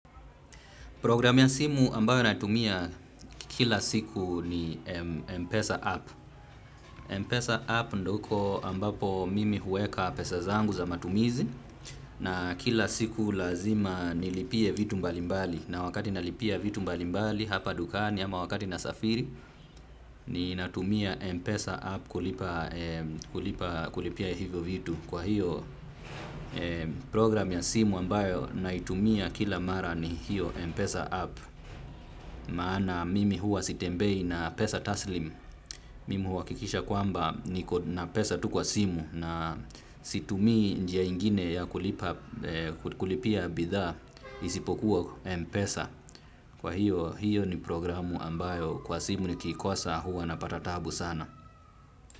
Programu ya simu ambayo natumia kila siku ni Mpesa App. Mpesa App ndiyo huko ambapo mimi huweka pesa zangu za matumizi na kila siku lazima nilipie vitu mbalimbali. Na wakati nalipia vitu mbalimbali hapa dukani ama wakati nasafiri ninatumia Mpesa App kulipia hivyo vitu. Kwa hiyo programu ya simu ambayo naitumia kila mara ni hiyo Mpesa App. Maana mimi huwa sitembei na pesa taslimu mimi huhakikisha kwamba niko na pesa tu kwa simu na situmii njia ingine ya kulipia bidhaa isipokuwa mpesa, kwa hiyo hiyo ni programu ambayo kwa simu nikiikosa huwa napata taabu sana.